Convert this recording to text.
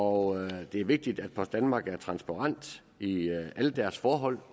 og at det er vigtigt at post danmark er transparent i alle deres forhold